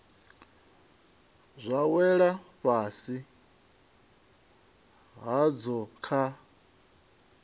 zwa wela fhasi hadzo kha